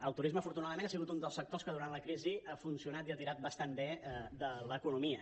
el turisme afortunadament ha sigut un dels sectors que durant la crisi ha funcionat i ha tirat bastant bé de l’economia